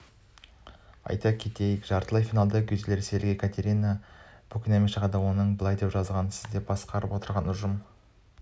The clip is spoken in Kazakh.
айта кету керек жартылай финалда гюзель ресейлікекатерина букинаменшығады онда былай деп жазылған сіз басқарып отырған ұжым